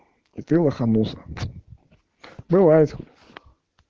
и ты лоханулся бывает